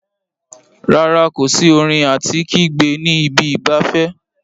Rárá, kò sí orin àti kígbe ní ibi ìgbafẹ́.